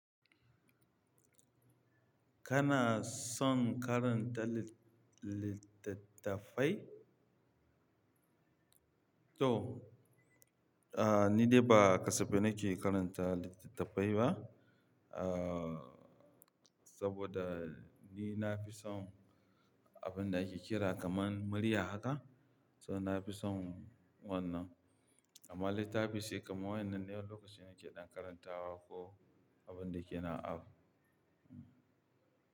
Kana son karanta lit-littattafai? To, ah, ni dai ba kasafe nake karanta littattafai ba. Ah, saboda ni na fi son abin da ake kira kamar murya haka. So na fi son wannan. Amma littafi sai kamar wannan ne wani lokacin na ke ɗan karantawa ko abun da ke na abu.